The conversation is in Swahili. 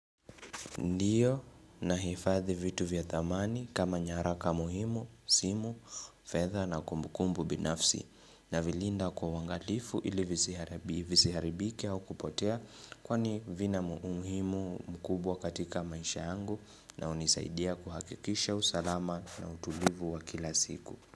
Ndiyo nahifadhi vitu vya dhamani kama nyaraka muhimu, simu, fedha na kumbukumbu binafsi navilinda kwa uangalifu ili visiharibike au kupotea kwani vina umuhimu mkubwa katika maisha yangu na hunisaidia kuhakikisha usalama na utulivu wa kila siku.